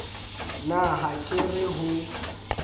na ha ke re ho